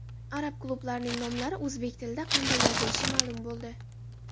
Arab klublarining nomlari o‘zbek tilida qanday yozilishi ma’lum bo‘ldi.